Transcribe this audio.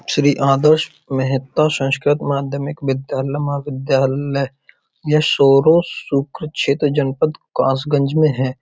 श्री आदर्श मेहता संस्कृत माध्यमिक विद्यालय महाविद्यालय ये सोरो शुक्र क्षेत्र जनपद काशगंज में है।